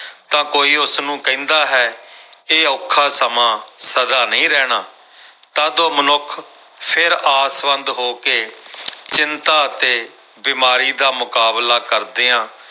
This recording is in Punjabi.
ਤਾਂ ਕੋਈ ਉਸਨੂੰ ਕਹਿੰਦਾ ਹੈ ਇਹ ਔਖਾ ਸਮਾਂ ਸਦਾ ਨਹੀਂ ਰਹਿਣਾ ਤਦ ਉਹ ਮਨੁੱਖ ਫਿਰ ਆਸਵੰਦ ਹੋ ਕੇ ਚਿੰਤਾ ਅਤੇ ਬਿਮਾਰੀ ਦਾ ਮੁਕਾਬਲਾ ਕਰਦਿਆਂ